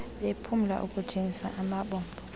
bephumlela ukujongis amabombo